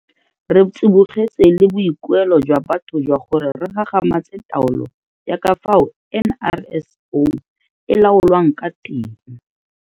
Re tsibogetse le boikuelo jwa batho jwa gore re gagamatse taolo ya ka fao NRSO e laolwang ka teng.